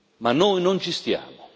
Ma noi non ci stiamo.